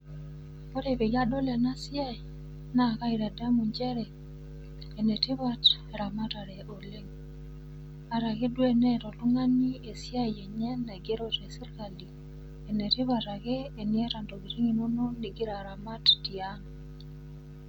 Ore peyie adol ena siai, naa kaitadamu nchere, enetipat eramatare oleng. Atake duo teneata oltung'ani esiai enye naigero tesirkali, enetipat ake teneata intokitin inono igira aramat tiang'.